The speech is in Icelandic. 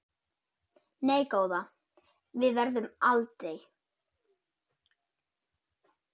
Nei góða, við gerum aldrei.